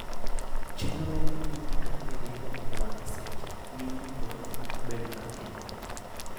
Chenro ma miyo mtokni ringo e wang'e seche, miyo mtokni ok bed mang'eny.